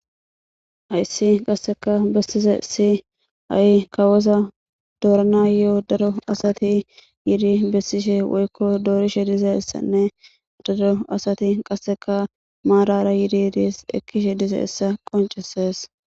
ayssi qasseka bessize si ai kawoza doorana yo7o daro asati yidi bessishe woykko doorishe dizeessanne daro asati qasseka maarara yidi yidis ekkishe dize essa qoncesees